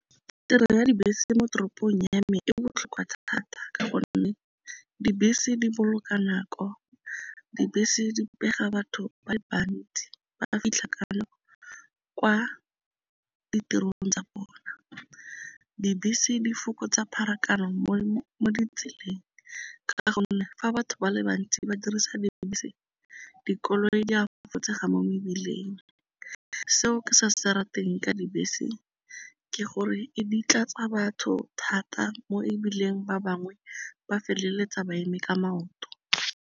Tirelo ya dibese mo toropong ya me e botlhokwa thata ka gonne dibese di boloka nako, dibese di pega batho ba le bantsi, ba fitlha kalo kwa ditirelong tsa bona, dibese di fokotsa pharakano mo ditseleng ka gonne fa batho ba le bantsi ba dirisa dibese dikoloi di a fokotsega mo mebileng. Seo ke se se rateng ka dibese ke gore e di tlatsa batho thata mo ebileng ba bangwe ba feleletsa ba eme ka maoto.